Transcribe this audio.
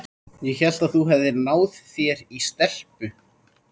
Ég hélt að þú hefðir náð þér í stelpu.